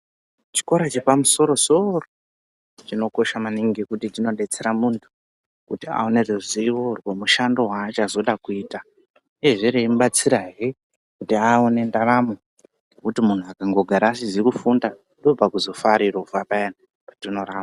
Chikora chepamusoro-soro chinokosha maningi ngekuti chinobetsera muntu kuti aone ruzivo rwemushando vaachazoda kuita, uyehe remubatsirahe kuti aone ndaramo yekuti muntu akangogara asizi kufunda ndopakuzofa ari rovha paya patinoramba.